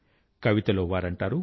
కవితలో వారంటారు